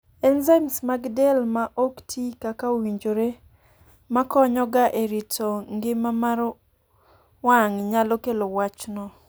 enzymes mag del ma ok tii kaka owinjore ma konyo ga e rito ngima mar wang' nyalo kelo wachno